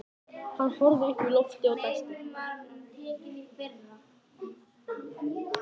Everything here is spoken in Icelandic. Hann horfði upp í loftið og dæsti.